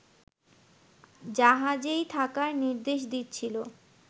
জাহাজেই থাকার নির্দেশ দিচ্ছিল